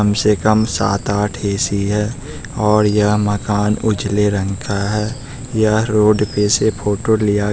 कम से कम सात आठ ए_सी है और यह मकान उजले रंग का है ये रोड पे से फोटो लिया--